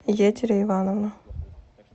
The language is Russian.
етери ивановна